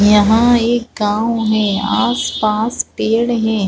यहाँ एक गाँव हे आस-पास पेड़ हे ।